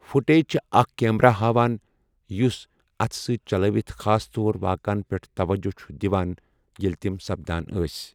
Footage چھےٚ اَکھ camera ہاوان، یُس اتھہٕ سۭتۍ چلٲوِتھ خاص طور واقعن پٮ۪ٹھ توجہ چھُ دِوان ییٚلہِ تِم سَپدان ٲسۍ ۔